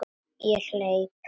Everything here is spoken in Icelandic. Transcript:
Ég hleyp.